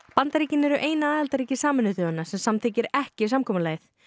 Bandaríkin eru eina aðildarríki Sameinuðu þjóðanna sem samþykkir ekki samkomulagið